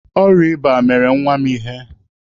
Ọrịa ịba mere nwa m ihe.